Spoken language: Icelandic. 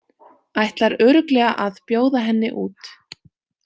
Ætlar örugglega að bjóða henni út.